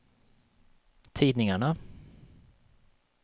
tidningarna